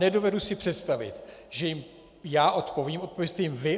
Nedovedu si představit, že jim já odpovím - odpovězte jim vy.